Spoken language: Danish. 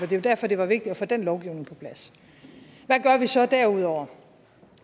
det var derfor det var vigtigt at få den lovgivning på plads hvad gør vi så derudover